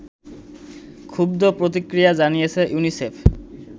ক্ষুব্ধ প্রতিক্রিয়া জানিয়েছে ইউনিসেফ